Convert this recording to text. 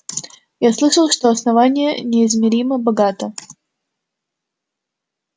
я слышал что основание неизмеримо богато